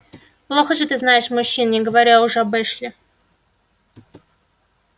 плохо же ты знаешь мужчин не говоря уже об эшли